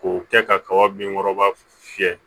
K'o kɛ kaba bin kɔrɔba fiyɛ